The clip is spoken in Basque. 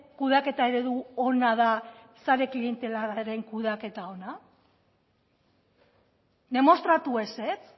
kudeaketa eredu ona da sare klientelarraren kudeaketa ona demostratu ezetz